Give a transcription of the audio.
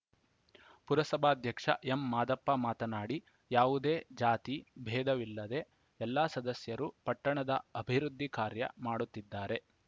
ಪುರಸಭಾಧ್ಯಕ್ಷ M Madappa ಮಾತನಾಡಿ ಯಾವುದೇ ಜಾತಿ ಭೇದವಿಲ್ಲದೆ ಎಲ್ಲ ಸದಸ್ಯರು ಪಟ್ಟಣದ ಅಭಿವೃದ್ಧಿ ಕಾರ್ಯ ಮಾಡುತ್ತಿದ್ದಾರೆ